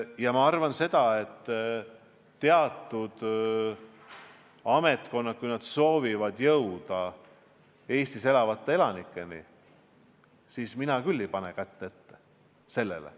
Ja ma arvan seda, et teatud ametkonnad, kui nad soovivad jõuda kõigi Eestis elavate elanikeni, siis mina küll ei pane sellele kätt ette.